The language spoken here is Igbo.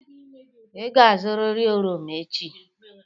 Ị ga-azụrịrị oroma echi!